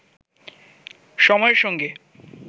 সময়ের সঙ্গে